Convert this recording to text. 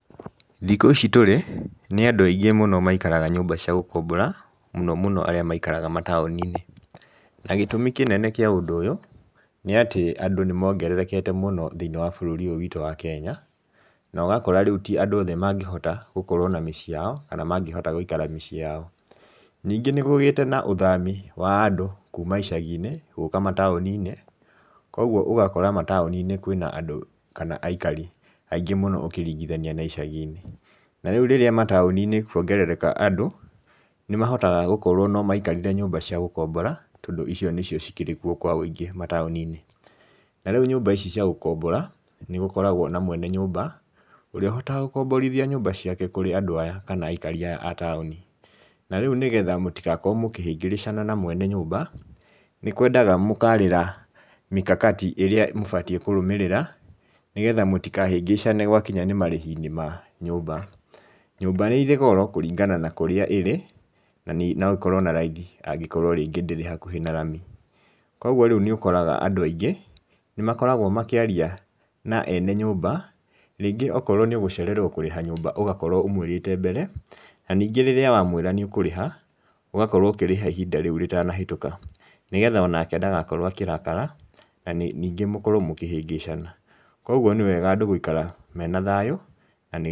Thikũ ici tũrĩ nĩ andũ aingĩ mũno maikaraga nyũmba cia gũkombora muno muno arĩa maikaraga mataoni~inĩ. Na gĩtũmi kĩnene kĩa ũndũ ũyũ nĩ atĩ andũ nĩ mongererekete mũno thĩ~inĩ wa bũrũri ũyũ witũ wa Kenya. Na ũgakora rĩu ti andũ othe mangĩhota gũkorwo na miciĩ yao kana mangĩhota gũikara miciĩ yao. Ningĩ nĩgugĩte na ũthami wa andũ kuma icagi~inĩ gũka mataoni~nĩ. Kogwo ũgakora mataoni~inĩ ũgakora kwĩna andũ kana aikari aingĩ mũno ũkiringithania na icagi~inĩ. Na rĩũ rĩrĩa mataoni~inĩ kuongerereka andũ nĩ mahotaga gũkorwo no maikarire nyũmba cia gũkombora tondũ icio nĩcio cikĩrĩkwo kwa wũingĩ mataoni~inĩ. Na rĩu nyũmba ici cia gũkombora nĩ gũkoragwo na mwene nyũmba ũrĩa ũhotaga gũkomborithia nyũmba ciake kũri andũ aya kana aikari aya a taoni. Na rĩu nĩgetha mũtigakorwo mũkĩhĩrĩngĩcana na mwene nyũmba nĩ kwendaga mũkarĩra mikakati ĩrĩa mũbatiĩ kũrũmĩrĩra nĩgetha mũtikahĩngĩcane gwakinya nĩ marĩhi~inĩ ma nyũmba. Nyũmba nĩ ĩrĩ goro kũringana na kũrĩa ĩrĩ na no ĩkorwo na raithi angĩkorwo rĩngĩ ndĩrĩ hakuhi na rami. Kogwo rĩu nĩ ũkoraga andũ aingĩ nĩ makoragwo makĩaria na ene nyũmba rĩngĩ okorwo nĩ ũgũcererwo kũrĩha nyũmba ũgakorwo ũmũĩrĩte mbere. Na ningĩ rĩrĩa wa mwĩra nĩ ũkũriha ũgakorwo ũkĩrĩha ihinda rĩu rĩtana hĩtũka. Nigetha onake ndagakorwo akĩrakara nĩngĩ mũkorwo mũkĩhĩngĩcana. Kogwo nĩ wega andũ gũikara mena thayũ na nĩ